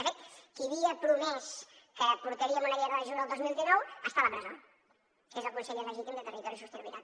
de fet qui havia promès que portaríem una llei de residus el dos mil dinou està a la presó que és el conseller legítim de territori i sostenibilitat